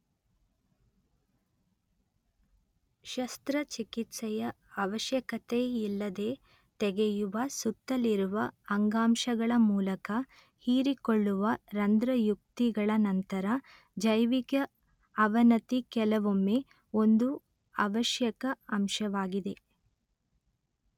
ಶಸ್ತ್ರ ಚಿಕಿತ್ಸೆಯ ಅವಶ್ಯಕತೆಯಿಲ್ಲದೆ ತೆಗೆಯುವ ಸುತ್ತಲಿರುವ ಅಂಗಾಂಶಗಳ ಮೂಲಕ ಹೀರಿಕೊಳ್ಳುವ ರಂಧ್ರಯುಕ್ತಿಗಳ ನಂತರ ಜೈವಿಕ ಅವನತಿ ಕೆಲವೊಮ್ಮೆ ಒಂದು ಅವಶ್ಯಕ ಅಂಶವಾಗಿದೆ